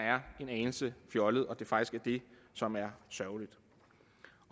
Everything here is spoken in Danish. en anelse fjollet og det faktisk er det som er sørgeligt